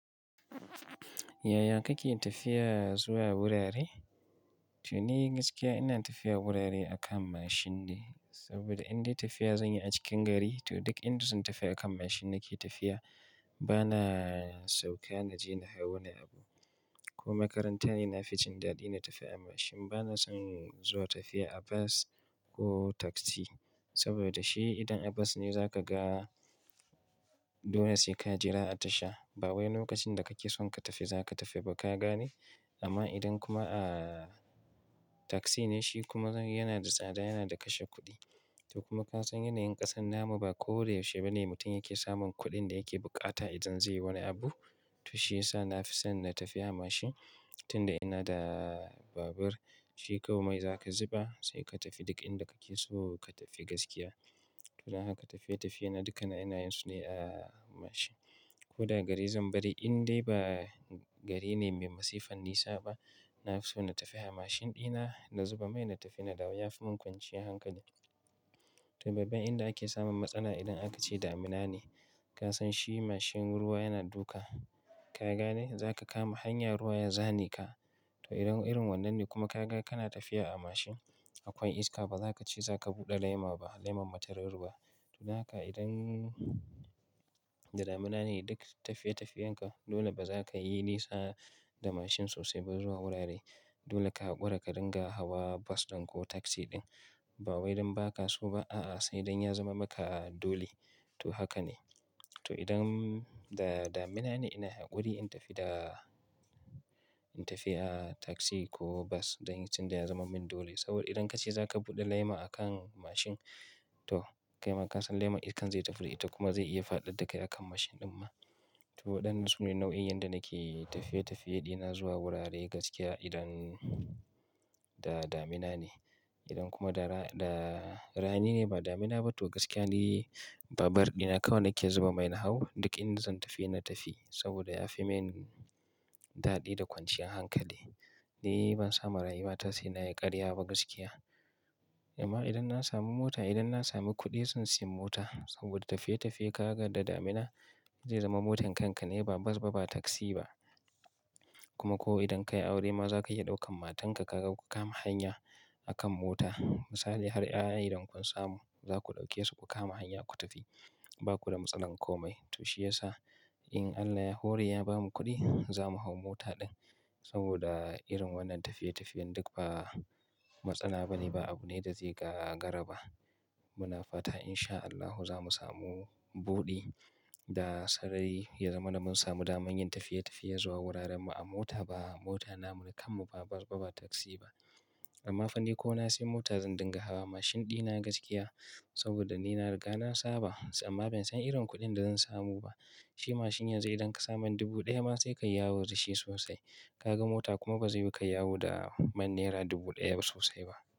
Yaya kake tafiya zuwa wurare? To ni gaskiya ina tafiya wurare akan mashin de, saboda indai tafiya zan yi a cikin gari to duk inda zan tafi akan mashin nake tafiya. Bana sauka na je na hau wani abu. Ko makaranta ne na fi jin daɗi na tafi a mashin. Bana son zuwa tafiya a bas ko taksi saboda shi idan a bas ne za ka ga dole sai ka jira a tasha. Ba wai lokacin da kake son ka tafi za ka tafi ba ka gane? Amma idan kuma a taksi ne shi kuma yana da tsada, yana da kashe kuɗi. To kuma ka san yanayin ƙasan na mu ba da koyaushe ba ne mutum yake samun kuɗin da yake bukata idan zai yi wani abu. To shiyasa na fi son na tafi a mashin tun da ina da babur. Shi kawai mai za ka zuba sai ka tafi duk inda kake so ka tafi gaskiya. To don haka tafiye-tafiye na dukkan ina yin su ne a mashin. Ko da gari zan bari indai ba gari ne mai masifan nisa ba, na fi so na tafi a mashin ɗi na, na zuba mai na tafi na dawo. Ya fi mun kwanciyar hankali. To babban inda ake samun matsala idan aka ce damina ne. Ka san shi mashin ruwa yana duka. Ka gane? Za ka kama hanya ruwa ya zane ka. To idan irin wannan ne kuma ka ga kana tafiya a mashin akwai iska ba za ka ce za ka buɗe laima ba, leman matarar ruwaa. To dan haka idan da damina ne duk tafiye-tafiyen ka dole ba za ka yi nisa da mashin sosai ba zuwa wurare. Dole ka hakura ka dinga hawa bas ɗin ko taksi ɗin. Ba wai dan ba ka so ba, a'a sai dan ya zaman maka dole. To haka ne. To idan da damina ne ina haƙuri in tafi da-- in tafi a taksi ko bas dan tun da ya zamar min dole. Saboda idan ka ce za ka buɗe laima akan mashin to kai ma ka san laiman iskan zai tafi. Ita kuma zai iya faɗad da kai akan mashin ɗin ma. To waɗannan su ne nau'in yadda nake tafiye-tafiye ɗina zuwa wurare gaskiya idan da damina ne. Idan kuma da ra, da rani ne ba damina ba to gaskiya ni babur ɗi na kawai nake zuba mai na hau duk inda zan tafi na tafi. Saboda ya fi min daɗi da kwanciyar hankali. Ni ban sama rayuwata sai na yi ƙarya ba gaskiya. Amma idan na sami mota, idan na sami kuɗi zan sayi mota. Saboda tafiye-tafiye ka ga da damina zai zama motan kanka ne ba bas ba, ba taksi ba. Kuma ko idan ka yi aure ma za ka iya ɗaukan matanka ka ga ku kama hanya akan mota. Misali har 'ya'ya idan kun samu za ku ɗauke su ku kama hanya ku tafi. Ba ku da matsalar komai. To shiyasa in Allah ya hore ya bamu kuɗi za mu hau mota ɗin. Saboda irin wannan tafiye-tafiyen duk ba matsala ba ne, ba abu ne da zai ga gara ba. Muna fata in sha Allahu za mu samu buɗi da sarari ya zamana mun samu daman yin tafiye-tafiye zuwa wuraren mu a mota ba mota namu na kanmu ba bas ba ba taksi ba. Amma fa ni ko na sai mota zan dinga hawa mashin ɗi na gaskiya saboda ni na riga na saba. Amma ban san irin kuɗin da zan samu ba. Shi mashin yanzu idan ka sa man dubu ɗaya ma sai ka yi yawo da shi sosai. Ka ga mota kuma ba zai yu kai yawo da man naira dubu ɗaya ba sosai ba.